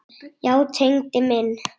Já, Tengdi minn.